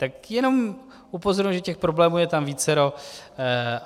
Tak jenom upozorňuji, že těch problémů je tam vícero.